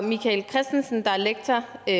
michael kristensen der er lektor der